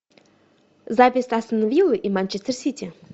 запись астон виллы и манчестер сити